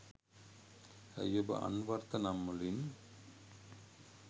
ඇයි ඔබ අන්වර්ථ නම්වලින්